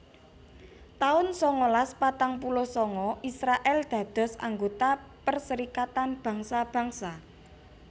taun sangalas patang puluh sanga Israèl dados anggota Perserikatan Bangsa Bangsa